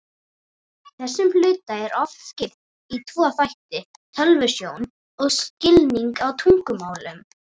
Þessum hluta er oft skipt í tvo þætti, tölvusjón og skilning á tungumálum.